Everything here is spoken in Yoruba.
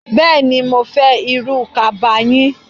Bẹẹni, mó fẹ́ irú kaba yín.